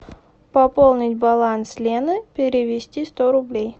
пополнить баланс лены перевести сто рублей